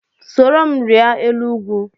Soro m rịa elu ugwu!